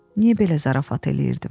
Niyə belə zarafat eləyirdim?